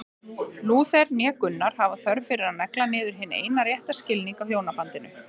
Lúther né Gunnar hafa þörf fyrir að negla niður hinn eina rétta skilning á hjónabandinu.